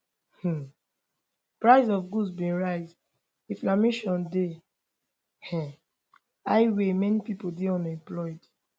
um prices of goods bin rise inflation dey um high wey many pipo dey unemployed